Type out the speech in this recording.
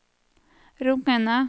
rungende